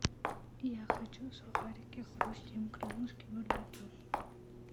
я хочу сухарики хрустим крылышки барбекю